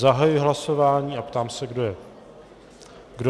Zahajuji hlasování a ptám se, kdo je pro.